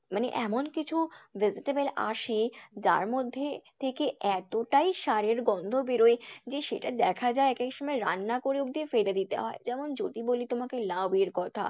মানে এমন কিছু vegetable আসে যার মধ্যে থেকে এতটাই সারের গন্ধ বেরোয় যে সেটা দেখা যায় এক এক সময় রান্না করে অবধি ফেলে দিতে হয়। যেমন যদি বলি তোমায় লাউয়ের কথা।